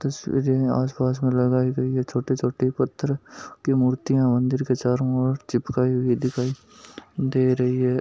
तस्वीरें आसपास में लगायी गयी है छोटे छोटे पत्थर की मुर्तिया मंदिर के चारो ओर चिपकाई हुई दिखाई दे रही है।